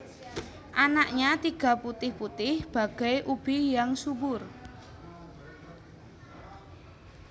Anaknya tiga putih putih bagai ubi yang subur